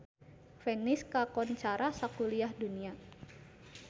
Venice kakoncara sakuliah dunya